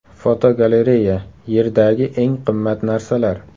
Fotogalereya: Yerdagi eng qimmat narsalar.